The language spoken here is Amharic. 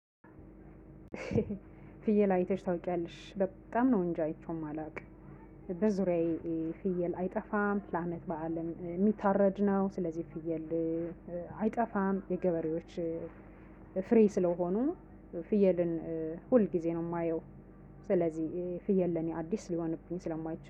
ፍየል አይተሽ ታውቂያለሽ በጣም ነው እንጂ አይቼውም የማላውቅ። በዙሪያዬ ፍየል አይጠፋም ፕላመት በዓልም የሚታረድ ነው ስለዚህ ፍየል አይጠፋም የገበሬዎች ፍሪ ስለሆኑ ፍየልን ሁል ጊዜ ነው የማየው። ስለዚህ ፍየል ለኔ አዲስ ሊሆንብኝ ስለማይችል